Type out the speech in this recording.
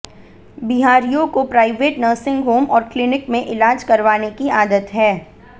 बिहारियों को private nursing home और क्लिनिक में इलाज करवाने की आदत है